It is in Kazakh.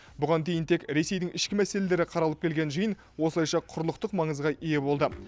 бұған дейін тек ресейдің ішкі мәселелері қаралып келген жиын осылайша құрлықтық маңызға ие болды